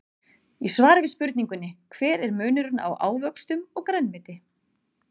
Í svari við spurningunni Hver er munurinn á ávöxtum og grænmeti?